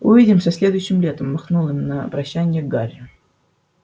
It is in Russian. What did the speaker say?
увидимся следующим летом махнул им на прощанье гарри